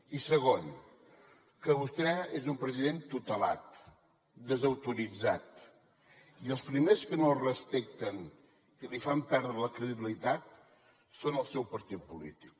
i segon que vostè és un president tutelat desautoritzat i els primers que no el respecten i li fan perdre la credibilitat són els del seu partit polític